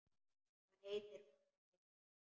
Hvað heitir hún, Einar?